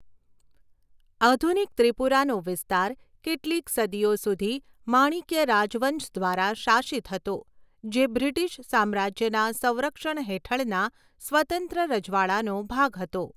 આધુનિક ત્રિપુરાનો વિસ્તાર કેટલીક સદીઓ સુધી માણિક્ય રાજવંશ દ્વારા શાસિત હતો, જે બ્રિટિશ સામ્રાજ્યના સંરક્ષણ હેઠળના સ્વતંત્ર રજવાડાનો ભાગ હતો.